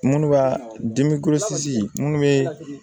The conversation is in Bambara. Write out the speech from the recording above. Minnu b'a dimi minnu bɛ